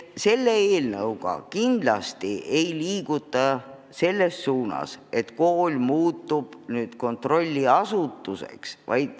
Selle eelnõuga kindlasti ei liiguta selles suunas, et kool muutub nüüd kontrolliasutuseks.